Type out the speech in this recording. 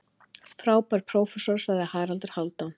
Frábær prófessor, sagði Haraldur Hálfdán.